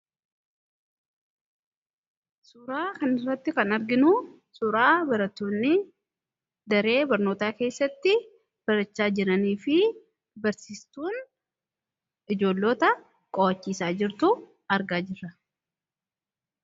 Suuraa kanarratti kan arginu suuraa barattoonni daree barnootaa keessatti barachaa jiraniifi barsiistuun ijoollota qo'achiisaa jirtu argaa jirra.